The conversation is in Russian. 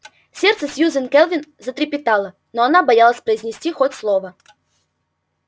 сердце сьюзен кэлвин затрепетало но она боялась произнести хоть слово